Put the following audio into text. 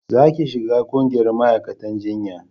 za ki shiga ƙungiyar ma'aikatan jinya